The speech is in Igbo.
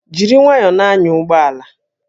Jiri nwayọọ na-anya ụgbọ ala!